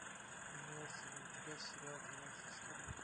имеется ли у тебя сериал двенадцать стульев